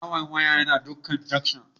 Barawon waya yana dukan junction